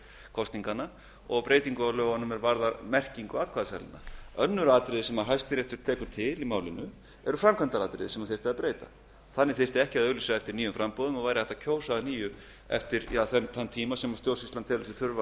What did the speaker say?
kosninganna og breytingu á lögunum er varðar merkingu atkvæðaseðlanna önnur atriði sem hæstiréttur tekur til í málinu eru framkvæmdaratriði sem þyrfti að breyta þannig þyrfti ekki að auglýsa eftir nýjum framboðum og væri hægt að kjósa að nýju eftir þann tíma sem stjórnsýslan telur sig þurfa